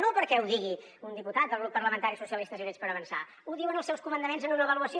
no perquè ho digui un diputat del grup parlamentari socialistes i units per avançar ho diuen els seus comandaments en una avaluació